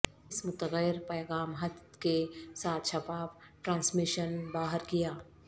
اس متغیر پیغام حد کے ساتھ شفاف ٹرانسمیشن باہر کیا